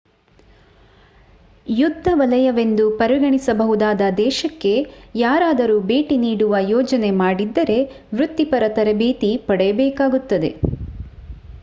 ಯುದ್ಧ ವಲಯವೆಂದು ಪರಿಗಣಿಸಬಹುದಾದ ದೇಶಕ್ಕೆ ಯಾರದರೂ ಭೇಟಿ ನೀಡುವ ಯೋಜನೆ ಮಾಡಿದ್ದರೆ ವೃತ್ತಿಪರ ತರಬೇತಿ ಪಡೆಯಬೇಕಾಗುತ್ತದೆ